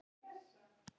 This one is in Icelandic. Vera sterk.